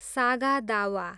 सागा दावा